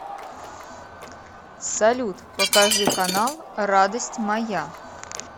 салют покажи канал радость моя